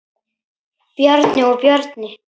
Bjarni og Bjarni